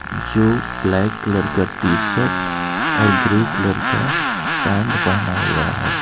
जो black colour का t-shirt ओर ग्रे कलर का पैंट पहना हुआ है.